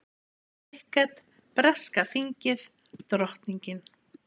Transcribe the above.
Krikket, breska þingið, drottningin.